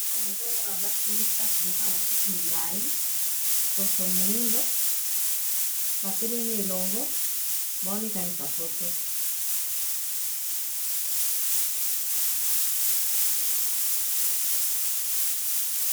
Awa nazomona basi misato bazanlala suki milai mponso moindo batelemi elongo bawamikangisa foto